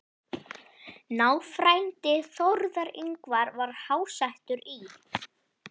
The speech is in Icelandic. Náfrændi Þórðar Yngva var háttsettur í